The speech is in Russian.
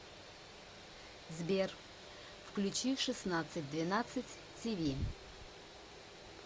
сбер включи шестандцать двенадцать ти ви